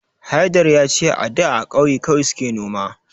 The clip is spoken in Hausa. Haidar ya ce a da a kauye kawai suke noma